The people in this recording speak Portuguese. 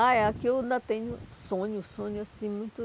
Ah aqui eu ainda tenho sonho, sonho assim muito...